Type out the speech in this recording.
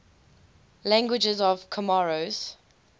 languages of comoros